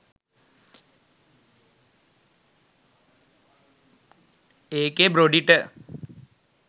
ඒකෙ බ්‍රොඩි ට